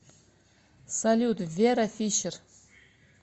салют вера фишер